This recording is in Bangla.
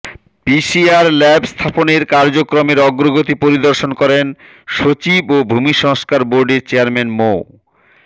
পিসিআর ল্যাব স্থাপনের কার্যক্রমের অগ্রগতি পরিদর্শন করেন সচিব ও ভূমি সংস্কার বোর্ডের চেয়ারম্যান মো